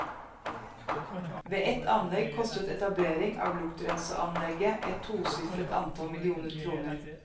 Ved et anlegg kostet etablering av luktrenseanlegget et tosifret antall millioner kroner.